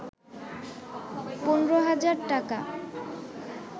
১৫,০০০ টাকা